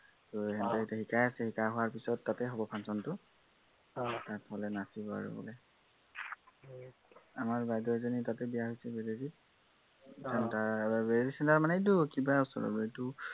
ত সিহঁতি এতিয়া শিকাই আছে, শিকাই হোৱাৰ পাছত তাতে হব function টো তাত মানে নাচিব আৰু বোলে। আমাৰ বাইদেউ এজনী তাতে বিয়া হৈছে, বেদেৰতৰীত। বেদেৰতৰী মানে তাৰ এইটো কিবা এৰ এইটো